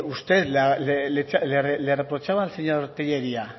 usted le reprochaba al señor tellería